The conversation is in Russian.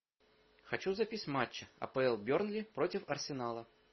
хочу запись матча апл бернли против арсенала